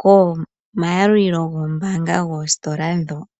komayalulilo goombaanga dhositola ndjoka.